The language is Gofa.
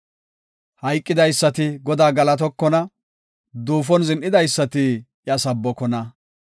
Hayqidaysati Godaa galatokonna; duufon zin7idaysati iya sabbokona.